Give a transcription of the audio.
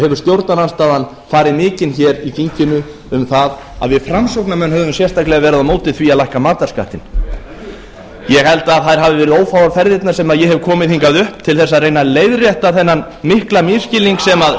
hefur stjórnarandstaðan farið mikinn hér í þinginu um það að við framsóknarmenn höfum sérstaklega verið á móti ári að lækka matarskattinn ég held að þær hafi verið ófáar ferðirnar sem ég hef komið hingað upp til þess að reyna að leiðrétta þennan mikla misskilning sem stjórnarandstaðan